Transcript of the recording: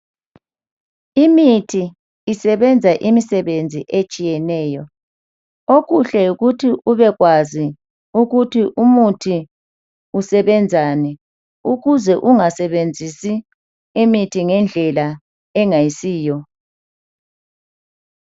Imithi isebenza imisebenzi etshiyeneyo okuhle yikuthi ubekwazi ukuthi umuthi usebenzani ukuze ungasebenzisi imithi ngendlela engayisiyo.